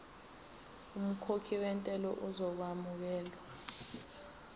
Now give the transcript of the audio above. umkhokhi wentela uzokwamukelwa